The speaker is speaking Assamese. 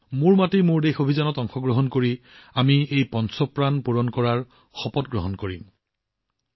আমিও মেৰী মাটি মেৰা দেশ অভিযানত অংশগ্ৰহণ কৰি এই পাঁচটা পণ পূৰণৰ শপত গ্ৰহণ কৰিম